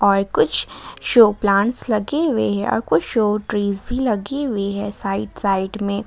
और कुछ show plants लगे हुए हैं और कुछ शो ट्रीज भी लगी हुई है साइड साइड में।